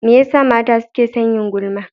Me yasa mata suke son yin gulma?